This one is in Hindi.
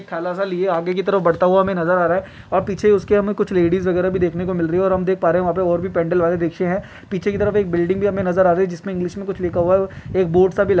आगे की तरफ बढ़ता हुआ हमे नज़र आ रहा है और पीछे उसके हमें कुछ लेडीज वगैरह भी देखने को मिल रही है और हम देख पा रहे हैं वहाँ पे और भी पेंडल वाले रिक्शे हैं पीछे की तरफ एक बिल्डिंग भी हमें नजर आ रही जिसमें इंग्लिश में कुछ लिखा हुआ है एक बोर्ड सा भी लग--